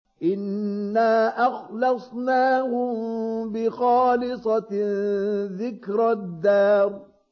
إِنَّا أَخْلَصْنَاهُم بِخَالِصَةٍ ذِكْرَى الدَّارِ